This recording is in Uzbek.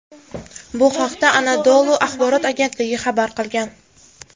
Bu haqda Anadolu axborot agentligi xabar qilgan .